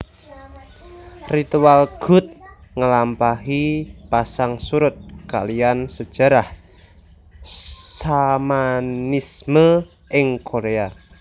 Ritual gut ngelampahi pasang surut kaliyan sejarah Shamanisme ing Korea